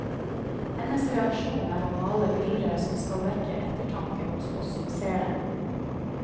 Hennes reaksjon er å male bilder som skal vekke ettertanke hos oss som ser dem.